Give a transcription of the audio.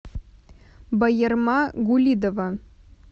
баярма гулидова